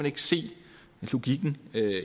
ikke se logikken